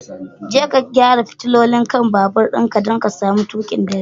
Je ka gyara fitilolin kai'n babur'n ka, dan ka samu tuki da dare.